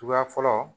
Tuguya fɔlɔ